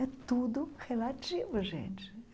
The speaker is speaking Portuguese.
É tudo relativo, gente.